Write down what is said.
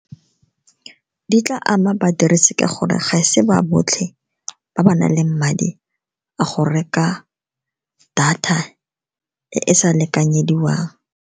Di tla ama badirisi ka gore ga se ba botlhe ba ba nang le madi a go reka data e e sa lekanyediwang.